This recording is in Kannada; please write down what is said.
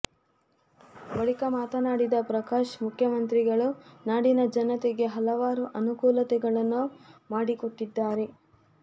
ಬಳಿಕ ಮಾತನಾಡಿದ ಪ್ರಕಾಶ್ ಮುಖ್ಯಮಂತ್ರಿಗಳು ನಾಡಿನ ಜನತೆಗೆ ಹಲವಾರು ಅನುಕೂಲತೆಗಳನ್ನು ಮಾಡಿಕೊಟ್ಟಿದ್ದಾರೆ